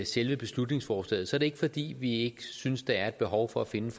selve beslutningsforslaget er det ikke fordi vi ikke synes der er behov for at finde